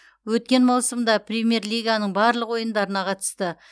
өткен маусымда премьер лиганың барлық ойындарына қатысты